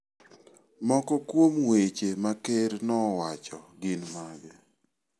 Moko kuom weche ma ker nowacho gin mage?